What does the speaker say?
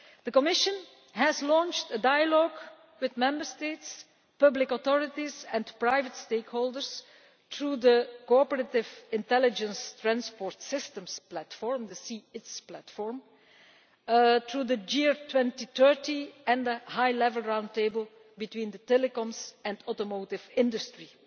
The Commission has launched a dialogue with Member States, public authorities and private stakeholders through the Cooperative Intelligent Transport Systems Platform the C ITS Platform to the GEAR 2030 and the High Level Round Table between the telecoms and automotive industries,